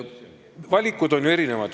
Valikud on ju erinevad.